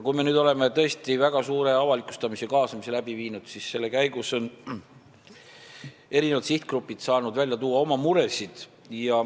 Me oleme tõesti väga suure avalikustamise ja kaasamise läbi viinud ning selle käigus on eri sihtgrupid saanud välja tuua oma muresid.